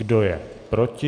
Kdo je proti?